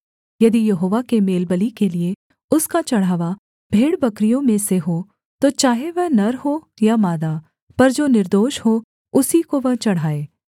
यदि यहोवा के मेलबलि के लिये उसका चढ़ावा भेड़बकरियों में से हो तो चाहे वह नर हो या मादा पर जो निर्दोष हो उसी को वह चढ़ाए